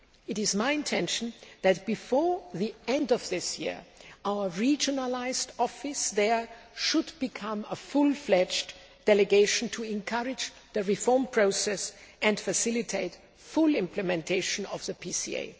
It is my intention that, before the end of this year, our regionalised office there should become a fully fledged delegation to encourage the reform process and facilitate full implementation of the PCA.